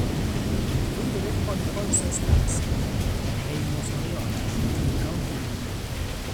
Opuonjore kod Conseslus ei Mosoriot e kaunti ma Nandi.